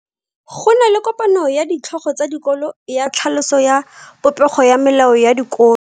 Go na le kopano ya ditlhogo tsa dikolo ya tlhaloso ya popego ya melao ya dikolo.